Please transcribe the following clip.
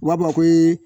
U b'a fɔ ko